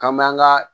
K'an m'an ka